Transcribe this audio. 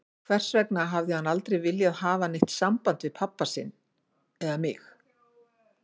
Hvers vegna hafði hann aldrei viljað hafa neitt samband við pabba eða mig?